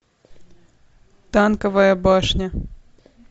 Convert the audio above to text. танковая башня